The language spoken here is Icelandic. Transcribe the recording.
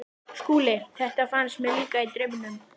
SKÚLI: Þetta fannst mér líka- í draumnum.